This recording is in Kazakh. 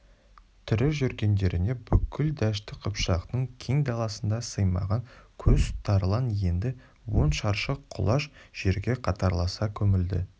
тірі жүргендерінде бүкіл дәшті қыпшақтың кең даласына сыймаған қос тарлан енді он шаршы құлаш жерге қатарласа көмілді